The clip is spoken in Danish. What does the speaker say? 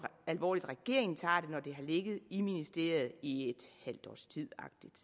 alvorligt regeringen tager det det har ligget i ministeriet i et halvt års tid